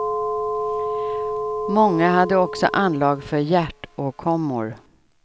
Många hade också anlag för hjärtåkommor.